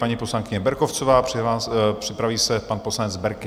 Paní poslankyně Berkovcová, připraví se pan poslanec Berki.